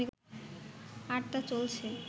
আর তা চলছে